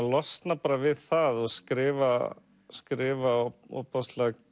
losna bara við það og skrifa skrifa ofboðslega